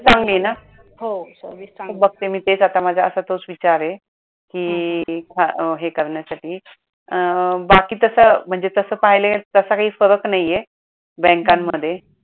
चांगली आहे ना? बघते मी तेच आता माझा तोच विचार आहे कि हे करण्यासाठी अं बाकी तस म्हणजे तसं पाहीले तसा काही फरक नाही आहे बँकांमध्ये